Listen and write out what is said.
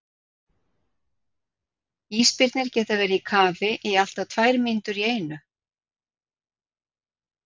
Ísbirnir geta verið í kafi í allt að tvær mínútur í einu.